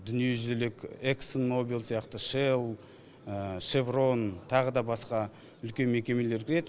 дүниежүзілік эксн мобиль сияқты шел шеврон тағы да басқа үлкен мекемелер кіреді